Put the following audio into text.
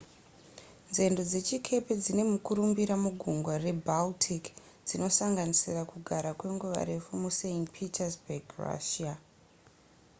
nzendo dzechikepe dzine mukurumbira mugungwa rebaltic dzinosanganisira kugara kwenguva refu must petersburg russia